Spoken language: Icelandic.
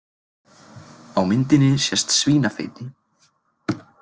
Á myndinni sést svínafeiti.